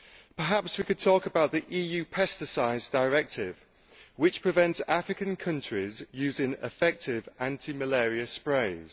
Perhaps we could talk about the EU pesticides directive, which prevents African countries using effective anti malaria sprays.